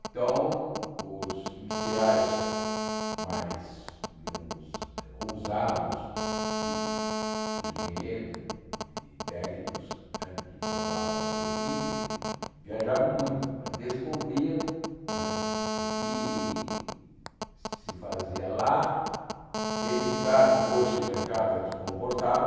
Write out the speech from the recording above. Então, os industriais mais, digamos, ousados, e os engenheiros e técnicos né que formavam a sua equipe, viajavam muito para descobrir né o que se fazia lá, verificar depois se o mercado aqui comportava,